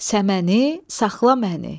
Səməni, saxla məni.